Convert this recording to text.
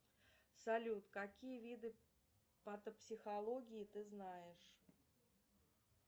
салют какие виды патопсихологии ты знаешь